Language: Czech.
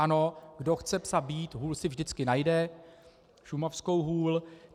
Ano, kdo chce psa bít, hůl si vždycky najde, šumavskou hůl.